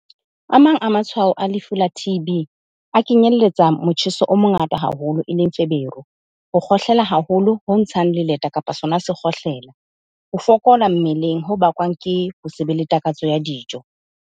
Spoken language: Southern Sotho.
A mang a matshwao a lefu la T_B a kenyelletsa motjheso o mongata haholo, eleng feberu, ho kgohlela haholo ho ntshang leleta kapa sona sekgohlela, ho fokola mmeleng ho bakwang ke ho se be le takatso ya dijo.